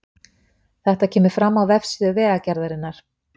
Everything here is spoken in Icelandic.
Þetta kemur fram á vefsíðu Vegagerðarinnar